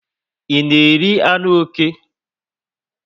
I na eri anụ oké?